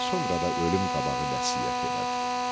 Sonra da ölüm qabağı vəsiyyət elədi.